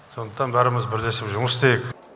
сондықтан бәріміз бірлесіп жұмыс істейік